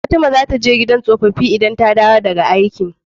Fatima zata je gidan tsofafi idan ta dawo daka wajan aiki